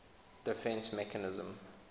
defence mechanism